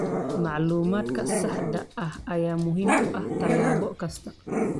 Macluumaadka saxda ah ayaa muhiim u ah tallaabo kasta.